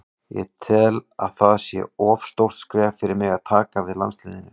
Ég tel að það sé of stórt skref fyrir mig að taka við landsliðinu.